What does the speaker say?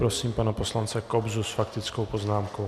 Prosím pana poslance Kobzu s faktickou poznámkou.